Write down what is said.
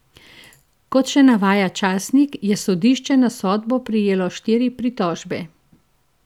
Kot še navaja časnik, je sodišče na sodbo prejelo štiri pritožbe.